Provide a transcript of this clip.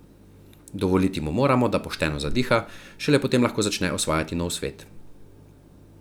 Dovoliti mu moramo, da pošteno zadiha, šele potem lahko začne osvajati nov svet.